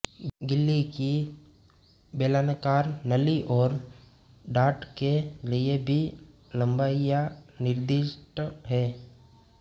गिल्ली की बेलनाकार नली और डाट के लिए भी लंबाइयां निर्दिष्ट हैं